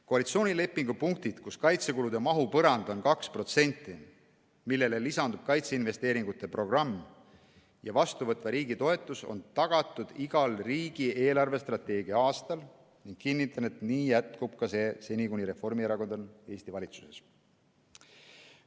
Koalitsioonilepingu punktid, kus kaitsekulude mahu põrand on 2%, millele lisandub kaitseinvesteeringute programm ja vastuvõtva riigi toetus, on tagatud igal riigi eelarvestrateegia aastal ning kinnitan, et nii jätkub see seni, kuni Reformierakond on Eesti valitsuses.